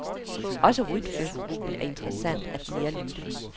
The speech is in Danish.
Også rytmegruppen er interessant at nærlytte.